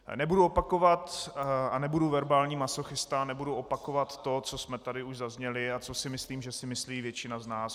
Nebudu opakovat a nebudu verbální masochista, nebudu opakovat to, co jsme tady už zazněli a co si myslím, že si myslí většina z nás.